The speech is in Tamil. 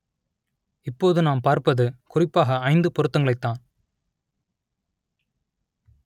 இப்போது நாம் பார்ப்பது குறிப்பாக ஐந்து பொருத்தங்களைத்தான்